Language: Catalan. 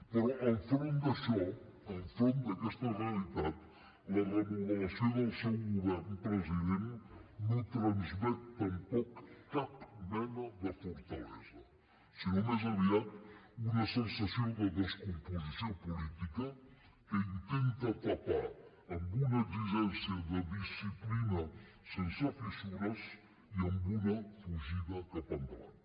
però enfront d’això enfront d’aquesta realitat la remodelació del seu govern president no transmet tampoc cap mena de fortalesa sinó més aviat una sensació de descomposició política que intenta tapar amb una exigència de disciplina sense fissures i amb una fugida cap endavant